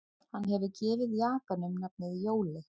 Hann hefur gefið jakanum nafnið Jóli